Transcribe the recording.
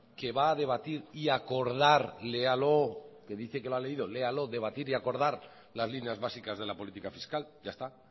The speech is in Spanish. que va a debatir y a acordar léalo que dice que lo ha leído léalo las líneas básicas de la política fiscal ya está